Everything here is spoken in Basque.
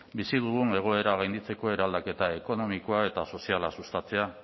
bizi dugun egoera gainditzeko eraldaketa ekonomikoa eta soziala sustatzea